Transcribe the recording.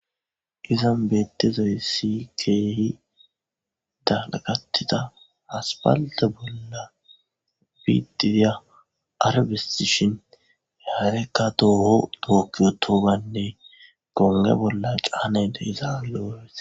izan beettizaysi keehi dalagatida asapalte bolla biitdidya arbesishin harekka tooho tooki utogane gonge bolla caanay de'za lo'es.